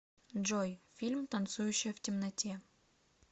джой фильм танцующая в темноте